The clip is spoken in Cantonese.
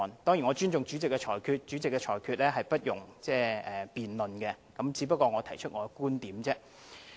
當然，我尊重主席的裁決，因為主席的裁決不容辯論，我只不過是提出我的觀點而已。